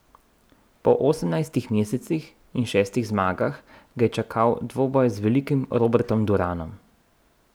Po osemnajstih mesecih in šestih zmagah ga je čakal dvoboj z velikim Robertom Duranom.